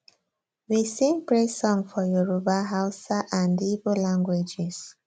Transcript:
we sing praise song for yoruba hausa dn igbo languages